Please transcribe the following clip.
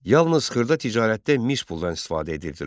Yalnız xırda ticarətdə mis puldan istifadə edirdilər.